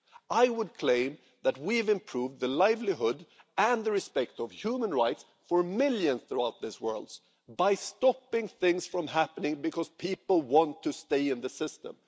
I would claim that we've improved livelihoods, and the situation in terms of observance of human rights, for millions throughout this world by stopping things from happening, because people want to stay in the system.